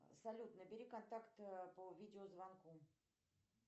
салют набери контакт по видеозвонку